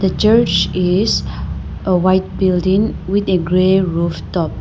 The church is a white building with a gray roof top.